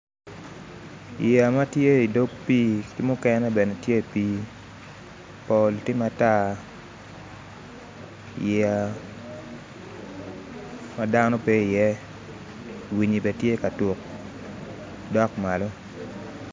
Yeya ma tye i dog pii ki mukene bene tye i pii pol tye matar yeya ma dano pe iye winyi bene tye ka tuk dok malo